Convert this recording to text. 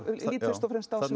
og fremst á þarna